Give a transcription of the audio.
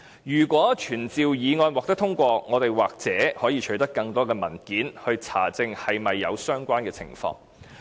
如果傳召議案獲得通過，我們也許可以取得更多文件查證是否有相關情況。